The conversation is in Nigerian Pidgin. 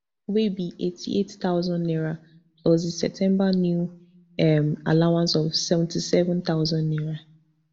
wey be eighty-eight thousand naira plus di septemba new um allowance of seventy-seven thousand naira